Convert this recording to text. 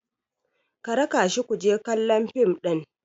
ka raka shi ku je kallon fim ɗin!